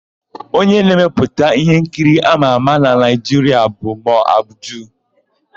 Onye na-emepụta íhénkiri ámà ámà na Naịjiria bụ Mo Abudu.